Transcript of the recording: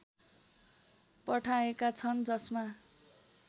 पठाएका छन् जसमा